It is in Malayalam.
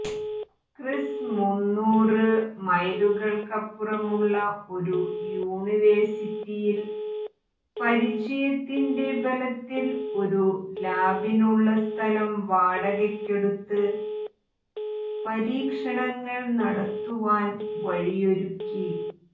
ക്രിസ് മുന്നൂറ് മൈലുകൾക്കപ്പുറമുള്ള ഒരു യുണിവേറ്സിറ്റിയിൽ പരിചയത്തിന്റെ ബലത്തിൽ ഒരു ലാബിനുള്ള സ്ഥലം വാടകക്കെടുത്ത് പരീക്ഷണങ്ങൾ നടത്തുവാൻ വഴിയൊരുക്കി